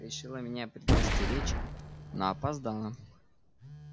решила меня предостеречь но опоздала